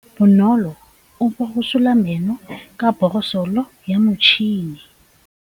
Bonolô o borosola meno ka borosolo ya motšhine.